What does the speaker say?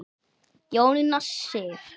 Jónína Sif.